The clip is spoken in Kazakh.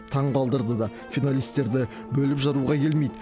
таңғалдырды да финалистерді бөліп жаруға келмейді